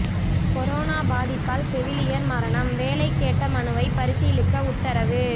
corona பாதிப்பால் செவிலியர் மரணம் வேலை கேட்ட மனுவை பரிசீலிக்க உத்தரவு